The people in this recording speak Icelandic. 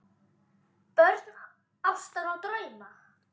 Börn ástar og drauma